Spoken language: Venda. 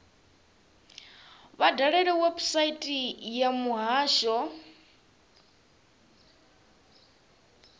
vha dalele website ya muhasho